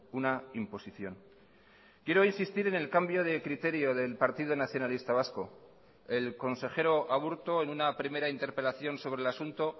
una imposición quiero insistir en el cambio de criterio del partido nacionalista vasco el consejero aburto en una primera interpelación sobre el asunto